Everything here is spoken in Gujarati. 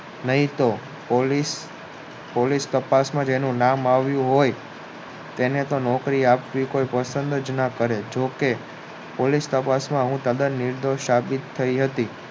નહિ તો પોલિશ તાપસ માં એનું નામ આવ્યું હોય તેને તો કોઈ નોકરી આપવી પસંદ જ ન કરે જો તે પોલીસ કબ્જ માં હું તદ્દન સાચી સાબિત થાય હતી